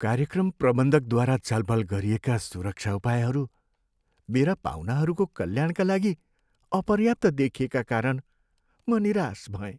कार्यक्रम प्रबन्धकद्वारा छलफल गरिएका सुरक्षा उपायहरू मेरा पाहुनाहरूको कल्याणका लागि अपर्याप्त देखिएका कारण म निराश भएँ।